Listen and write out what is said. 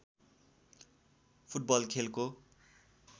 football खेलको